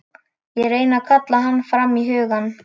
Ég reyni að kalla hann fram í hugann.